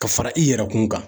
Ka fara i yɛrɛkun kan